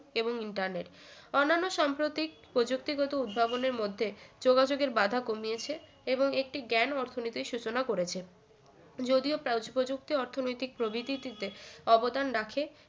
এবং internet অন্যান্ন সম্প্রতিক প্রযুক্তিগত উদ্ভাবনের মধ্যে যোগাযোগের বাধা কমিয়েছে এবং একটি জ্ঞান অর্থনীতির সূচনা করেছে যদিও প্রা~ প্রযুক্তি অর্থনৈতিক প্রবৃদ্ধিতে অবদান রাখে